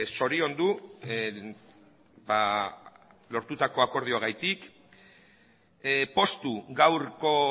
zoriondu lortutako akordioagatik poztu gaurko